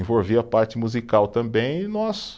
Envolvia a parte musical também, e nós